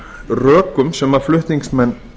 rökum sem flutningsmenn